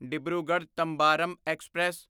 Dibrugarh Tambaram express